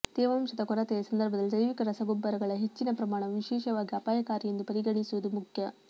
ತೇವಾಂಶದ ಕೊರತೆಯ ಸಂದರ್ಭದಲ್ಲಿ ಜೈವಿಕ ರಸಗೊಬ್ಬರಗಳ ಹೆಚ್ಚಿನ ಪ್ರಮಾಣವು ವಿಶೇಷವಾಗಿ ಅಪಾಯಕಾರಿ ಎಂದು ಪರಿಗಣಿಸುವುದು ಮುಖ್ಯ